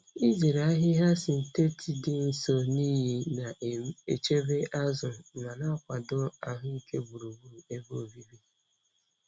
Izere ahịhịa sịntetịt dị nso na iyi na-echebe azụ ma na-akwado ahụike gburugburu ebe obibi.